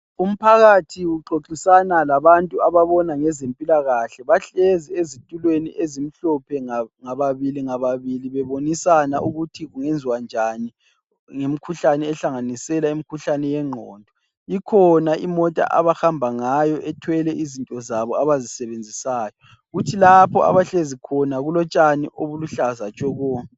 Umphakathi uxoxisana labantu ababona ngezempilakahle. Bahlezi ezithulweni ezimhlophe ngababili ngababili ,bebonisana ukuthi kungenziwa njani ngemikhuhlane ehlanganisela imikhuhlane yengqondo .Ikhona imota abahamba ngayo ethwele izinto zabo abazisebenzisayo. Kuthi lapho abahlezi khona kulotshani obuluhlaza tshoko.